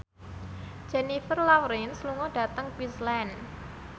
Jennifer Lawrence lunga dhateng Queensland